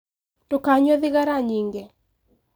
Ndũkanyue thigara nyingĩ.